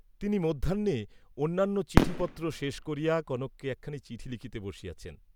তিনি মধ্যাহ্নে অন্যান্য চিঠিপত্র শেষ করিয়া কনককে একখানি চিঠি লিখিতে বসিয়াছেন।